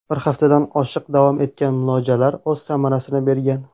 Bir haftadan oshiq davom etgan muolajalar o‘z samarasini bergan.